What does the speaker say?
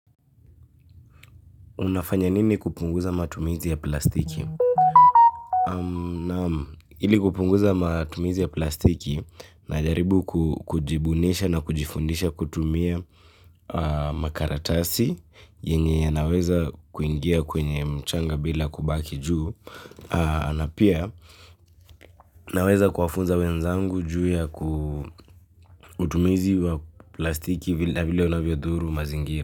Unafanya nini kupunguza matumizi ya plastiki? Ili kupunguza matumizi ya plastiki najaribu kujibunisha na kujifundisha kutumia makaratasi yenye yanaweza kuingia kwenye mchanga bila kubaki juu na pia naweza kuwafunza wenzangu juu ya kutumia izi wa plastiki na vile unavyo dhuru mazingira.